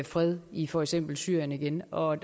fred i for eksempel syrien igen og